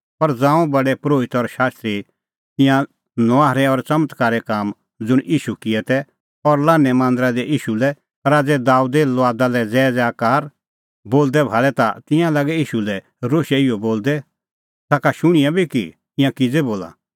पर ज़ांऊं प्रधान परोहितै और शास्त्री ईंयां नुआहरै और च़मत्कारे काम ज़ुंण ईशू किऐ तै और लान्हैं मांदरा दी ईशू लै राज़ै दाबेदे लुआदा लै ज़ैज़ैकार बोलदै भाल़ै ता तिंयां लागै ईशू लै रोशै इहअ बोलदै ताखा शुणिआं बी कि ईंयां किज़ै बोला